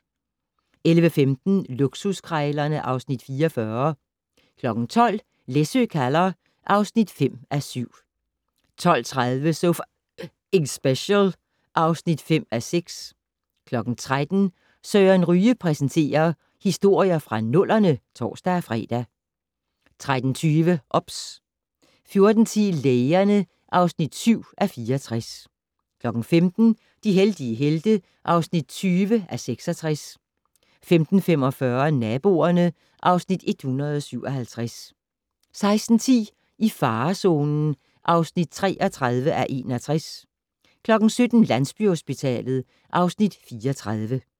11:15: Luksuskrejlerne (Afs. 44) 12:00: Læsø kalder (5:7) 12:30: So F***ing Special (5:6) 13:00: Søren Ryge præsenterer: Historier fra nullerne (tor-fre) 13:20: OBS 14:10: Lægerne (7:64) 15:00: De heldige helte (20:66) 15:45: Naboerne (Afs. 157) 16:10: I farezonen (33:61) 17:00: Landsbyhospitalet (Afs. 34)